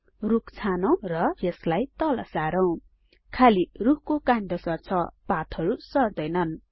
रुख छानौं र यसलाई तल सारौँ खाली रुखको काण्ड सर्छ पातहरु सर्दैनन्